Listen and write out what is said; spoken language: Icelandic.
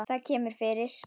Það kemur fyrir.